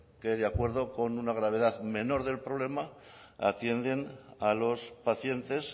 que de acuerdo con una gravedad menor del problema atienden a los pacientes